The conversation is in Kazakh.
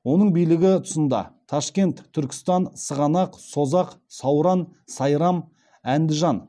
оның билігі тұсында ташкент түркістан сығанақ созақ сауран сайрам әндіжан